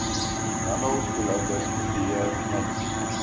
handelsdoeleindes kopieer mits